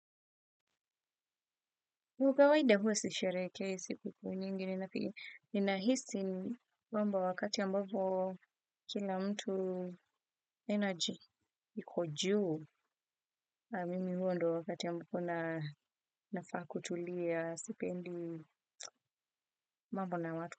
Kawaida huwe sisherekei siku kuu nyingi ni nahisi wamba wakati ambapo kila mtu energy iko juu mimi huo ndo wakati ambapo na nafaa kutulia sipendi mambona watu.